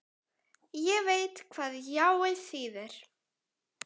Ég veit hvað jáið þýðir.